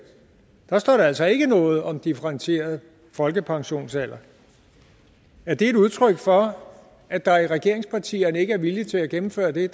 står der altså ikke noget om differentieret folkepensionsalder er det et udtryk for at der i regeringspartierne ikke er vilje til at gennemføre det